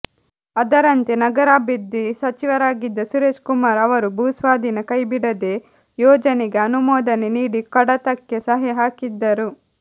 ಅದರಂತೆ ನಗರಾಭಿವೃದ್ಧಿ ಸಚಿವರಾಗಿದ್ದ ಸುರೇಶ್ ಕುಮಾರ್ ಅವರು ಭೂಸ್ವಾಧೀನ ಕೈಬಿಡದೇ ಯೋಜನೆಗೆ ಅನುಮೋದನೆ ನೀಡಿ ಕಡತಕ್ಕೆ ಸಹಿ ಹಾಕಿದ್ದರು